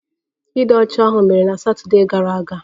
Ịdị ọcha ahụ mere na Satọdee gara aga